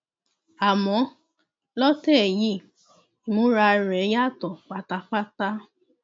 àmọ lọtẹ yìí ìmúra rẹ yàtọ pátápátá